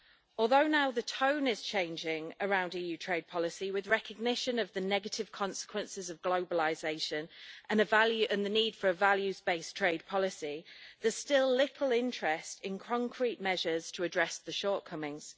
Although now the tone is changing around EU trade policy, with recognition of the negative consequences of globalisation and the need for a values based trade policy, there's still little interest in concrete measures to address the shortcomings.